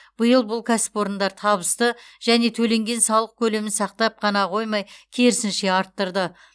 биыл бұл кәсіпорындар табысты және төленген салық көлемін сақтап қана қоймай керсінше арттырды